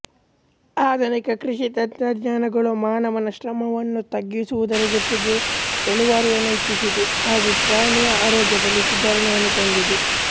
ಆಧುನಿಕ ಕೃಷಿ ತಂತ್ರಜ್ಞಾನಗಳು ಮಾನವನ ಶ್ರಮವನ್ನು ತಗ್ಗಿಸುವುದರ ಜೊತೆಗೆ ಇಳುವರಿಯನ್ನು ಹೆಚ್ಚಿಸಿದೆ ಹಾಗು ಪ್ರಾಣಿಯ ಆರೋಗ್ಯದಲ್ಲಿ ಸುಧಾರಣೆಯನ್ನು ತಂದಿದೆ